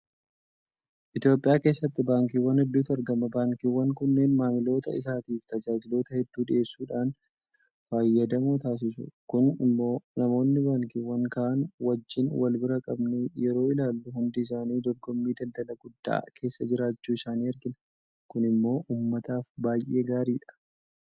Itoophiyaa keessatti baankiiwwan hedduutu argama. Baankiiwwan kunneen maamiloota isaaniitiif tajaajiloota hedduu dhiyeessuudhaan fayyadamoo taasisu. Kun immoo namoonni baankiiwwan kaan wajjin walbira qabnee yeroo ilaallu hundi isaanii dorgommii daldalaa guddaa keessa jirachuu isaanii argina. Kun immoo uummataaf baay'ee gaariidha.